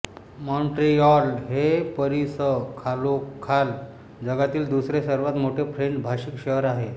Montreal हे पॅरिसखालोखाल जगातील दुसरे सर्वात मोठे फ्रेंच भाषिक शहर आहे